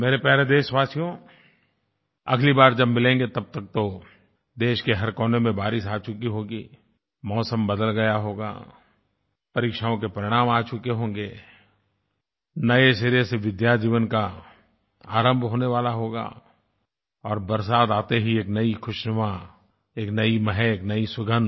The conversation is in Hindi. मेरे प्यारे देशवासियों अगली बार जब मिलेंगे तब तक तो देश के हर कोने में बारिश आ चुकी होगी मौसम बदल गया होगा परीक्षाओं के परिणाम आ चुके होंगे नये सिरे से विद्याजीवन का आरंभ होने वाला होगा और बरसात आते ही एक नई खुशनुमा एक नई महक एक नई सुगंध